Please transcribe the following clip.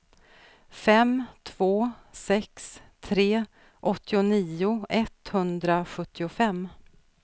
fem två sex tre åttionio etthundrasjuttiofem